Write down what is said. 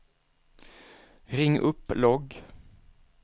ring upp logg